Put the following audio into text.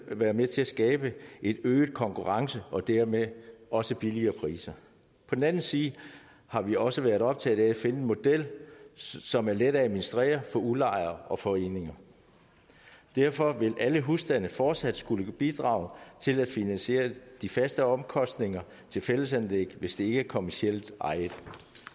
være med til at skabe en øget konkurrence og dermed også billigere priser på den anden side har vi også været optaget af at finde en model som er let at administrere for udlejere og foreninger derfor vil alle husstande fortsat skulle bidrage til at finansiere de faste omkostninger til fællesanlæg hvis de ikke er kommercielt ejet